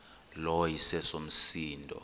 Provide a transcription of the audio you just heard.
lo iseso msindo